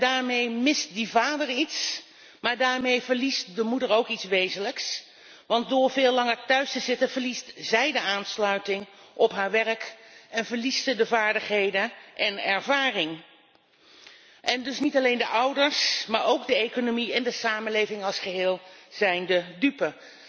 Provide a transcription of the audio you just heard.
Daarmee mist de vader iets, maar daarmee verliest de moeder ook iets wezenlijks want door veel langer thuis te zitten, verliest zij de aansluiting met haar werk en verliest ze vaardigheden en ervaring. Dus niet alleen de ouders maar ook de economie en de samenleving als geheel zijn de dupe.